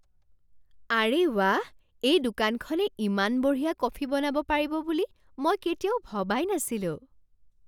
আৰে ৱাহ! এই দোকানখনে ইমান বঢ়িয়া কফি বনাব পাৰিব বুলি মই কেতিয়াও ভবাই নাছিলোঁ।